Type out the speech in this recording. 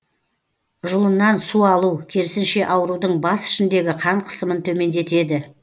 жұлыннан су алу керісінше аурудың бас ішіндегі қан қысымын төмендетеді